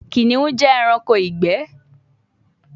Kiniun jẹ ẹranko igbẹ